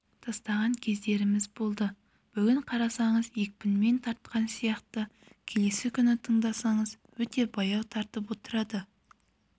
тастаған кездеріміз болды бүгін қарасаңыз екпінмен тартқан сияқты келесі күні тыңдасаңыз өте баяу тартып отырады